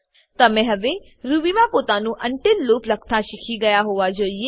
તમે હવે રૂબીમાં પોતાનું અનટીલ લૂપ લખતા શીખી ગયા હોવા જોઈએ